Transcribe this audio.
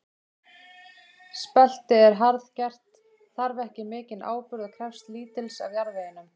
Spelti er harðgert, þarf ekki mikinn áburð og krefst lítils af jarðveginum.